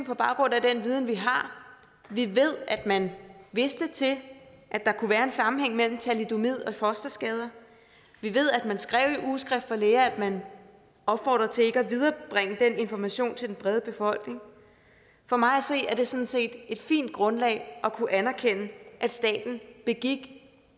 på baggrund af den viden vi har vi ved at man vidste til at der kunne være en sammenhæng imellem thalidomid og fosterskader vi ved at man skrev i ugeskrift for læger at man opfordrede til ikke at viderebringe den information til den brede befolkning for mig at se er det sådan set et fint grundlag at kunne anerkende at staten begik